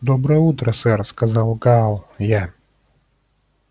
доброе утро сэр сказал гаал я